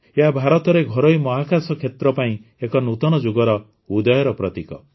ଏହା ଭାରତରେ ଘରୋଇ ମହାକାଶ କ୍ଷେତ୍ର ପାଇଁ ଏକ ନୂତନ ଯୁଗର ଉଦୟର ପ୍ରତୀକ